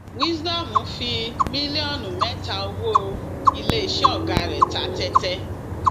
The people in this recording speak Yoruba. wisdom fi mílíọnù mẹta owó iléeṣẹ ọgá rẹ ta tẹtẹ